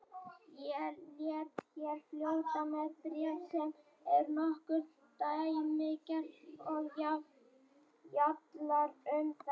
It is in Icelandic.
Ég læt hér fljóta með bréf sem er nokkuð dæmigert og fjallar um þetta